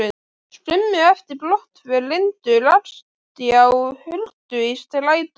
Skömmu eftir brottför Lindu rakst ég á Huldu í strætó.